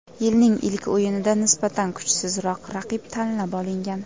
Yilning ilk o‘yinida nisbatan kuchsizroq raqib tanlab olingan.